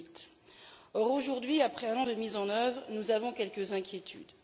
2008. Or, aujourd'hui, après un an de mise en œuvre, nous avons quelques inquiétudes.